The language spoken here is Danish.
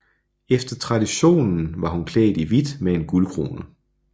Efter traditionen var hun klædt i hvidt med en guldkrone